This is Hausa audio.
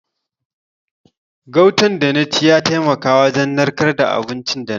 Gautan da na ci ya taimaka wajen narkar da abinci da na ci.